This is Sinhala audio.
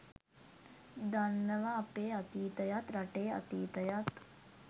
දන්නව අපේ අතීතයත් රටේ අතීතයත්.